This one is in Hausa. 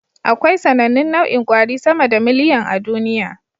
Akwai sAnannun nau'in kwari sama da miliyan a duniya